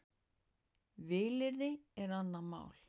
Vilyrði er annað mál.